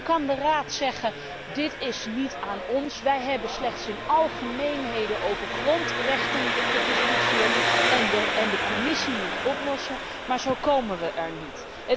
En dan kan de Raad zeggen dit is niet aan ons, wij hebben slechts in algemeenheden over grondrechten gediscussieerd en de Commissie moet het oplossen, maar zo komen we er niet.